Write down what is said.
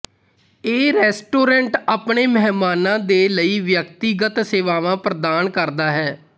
ਇਹ ਰੈਸਟੋਰੈਂਟ ਆਪਣੇ ਮਹਿਮਾਨਾਂ ਦੇ ਲਈ ਵਿਅਕਤੀਗਤ ਸੇਵਾਵਾਂ ਪ੍ਦਾਨ ਕਰਦਾ ਹੈ